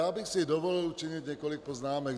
Já bych si dovolil učinit několik poznámek.